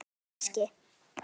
Já, kannski